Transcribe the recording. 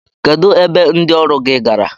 Kedụ ebe ndị ọrụ gị gara?